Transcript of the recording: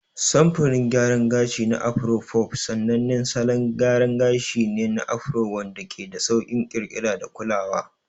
Samfurin gayaran gashi na Afro fof sanannen salon gyara gashi ne na Afro wanda ke da sauƙin ƙirƙira da kulawa.